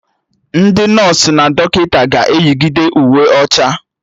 Ndị nọsụ na dọkịta ga-eyigide Uwe ọcha